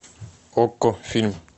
окко фильм